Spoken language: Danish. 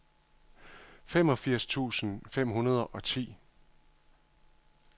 femogfirs tusind fem hundrede og ti